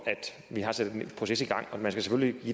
at vi har sat en proces i gang og man skal